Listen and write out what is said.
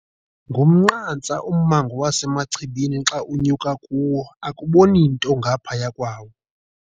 Ngumnqantsa ummango waseMachibini xa unyuka kuwo akuboni nto ngaphaya kwawo.